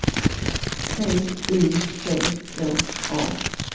T Y C K A